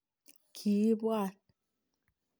Kiibwat